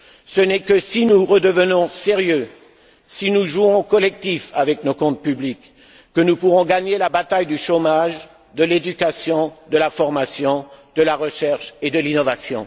Ce n'est que si nous redevenons sérieux, si nous jouons collectif avec nos comptes publics, que nous pourrons gagner la bataille du chômage, de l'éducation, de la formation, de la recherche et de l'innovation.